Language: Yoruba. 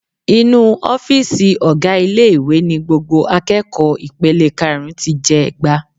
Inú ọ́fíìsì ọ̀gá ilé-ìwé ni gbogbo akẹ́kọ̀ọ́ ipele karùn-ún ti jẹ'gba.